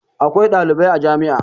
Akwai ɗalibai a jami'a.